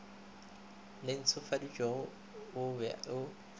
le ntshofaditšwego o be o